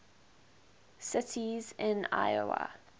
cities in iowa